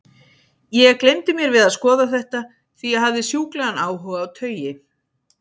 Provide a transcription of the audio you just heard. Ég gleymdi mér við að skoða þetta, því ég hafði sjúklegan áhuga á taui.